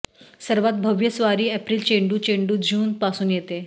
सर्वात भव्य स्वारी एप्रिल चेंडू चेंडू जून पासून येते